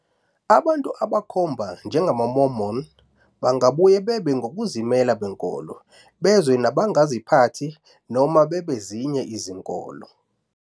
Abantu abakhomba njengamaMormon bangabuye babe ngokuzimela benkolo, bezwe nabangaziphathi, noma bebezinye izinkolo.